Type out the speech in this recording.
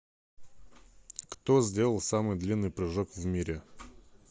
кто сделал самый длинный прыжок в мире